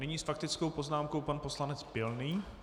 Nyní s faktickou poznámkou pan poslanec Pilný.